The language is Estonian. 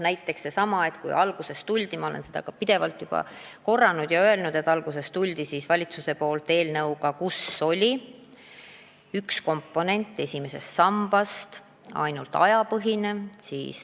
Alguses ju tuli valitsus – ma olen seda täna mitu korda öelnud – välja eelnõuga, kus üks esimese samba komponent oli ainult tööajapõhine.